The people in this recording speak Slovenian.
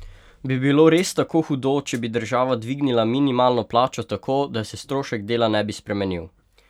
Bi bilo res tako hudo, če bi država dvignila minimalno plačo tako, da se strošek dela ne bi spremenil?